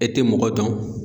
E tɛ mɔgɔ dɔn.